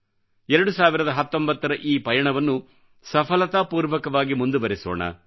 2019 ರ ಈ ಪಯಣವನ್ನು ಸಫಲತಾಪೂರ್ವಕವಾಗಿ ಮುಂದುವರೆಸೋಣ